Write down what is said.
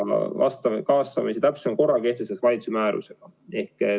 Kaasamise täpsema korra kehtestab valitsus määrusega.